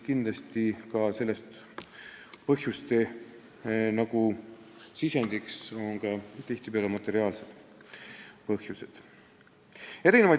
Kindlasti on selle taga tihtipeale ka materiaalsed põhjused.